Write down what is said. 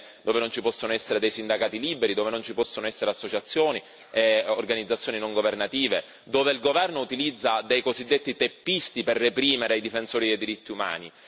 dove non ci possono essere sindacati liberi, dove sono vietate le associazioni e le organizzazioni non governative, dove il governo utilizza dei cosiddetti teppisti per reprimere i difensori dei diritti umani.